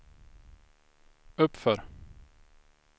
uppför